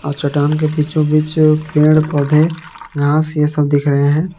और चट्टान के बीचो बीच पेड़ पौधे घास ये सब दिख रहे हैं।